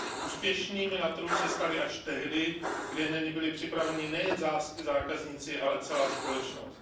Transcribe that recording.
Úspěšnými na trhu se se staly až tehdy, kdy na ně byli připraveni nejen zákazníci, ale i celá společnost.